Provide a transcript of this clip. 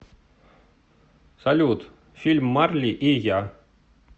салют фильм марли и я